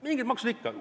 Mingid maksud ikka.